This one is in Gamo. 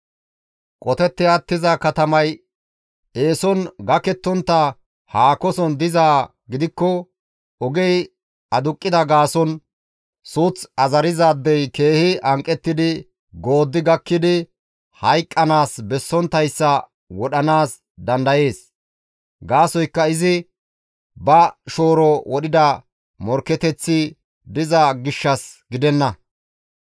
Qotetti attiza katamay eeson gakettontta haakoson dizaa gidikko ogey aduqqida gaason suuth azarizaadey keehi hanqettidi gooddi gakkidi hayqqanaas bessonttayssa wodhanaas dandayees; gaasoykka izi ba shooro wodhiday morkketeththi diza gishshas gidenna.